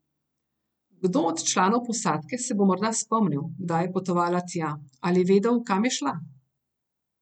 Kdo od članov posadke se bo morda spomnil, kdaj je potovala tja, ali vedel, kam je šla.